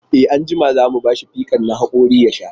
E, anjima za mu ba shi fikan na haƙori ya sha.